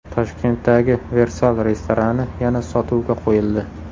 Toshkentdagi Versal restorani yana sotuvga qo‘yildi.